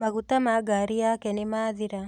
Maguta ma ngari yake nĩmathira